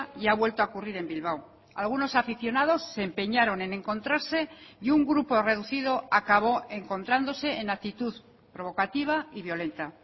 y ha vuelto a ocurrir en bilbao algunos aficionados se empeñaron en encontrarse y un grupo reducido acabó encontrándose en actitud provocativa y violenta